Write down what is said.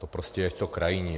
To prostě je to krajní.